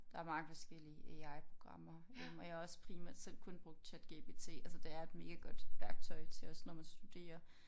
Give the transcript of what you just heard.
Der er mange forskellige AI programmer øh og jeg har også primært selv kun brugt ChatGPT altså det er et megagodt værktøj til også når man studerer